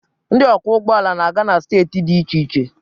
ndị ọkwọ ụgbọ ala na-aga na steeti dị iche iche.